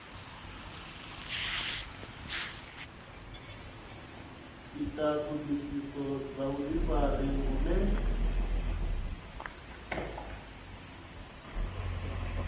ita ṱhoḓisiso dza vhuḓifari vhune